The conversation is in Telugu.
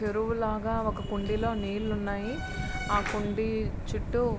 చెరువులాగా ఒక కుడిలో నీళ్లు ఉన్నాయి. ఆ కుండీ చుట్టు --